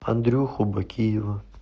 андрюху бакиева